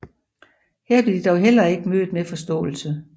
Her blev de dog heller ikke blev mødt med forståelse